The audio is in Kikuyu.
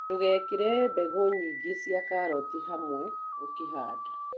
Ndũgekĩre mbegũ nyingĩ cia karoti hamwe ũkĩhanda.